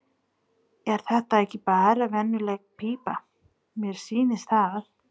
Er þetta ekki bara venjuleg pípa, mér sýnist það.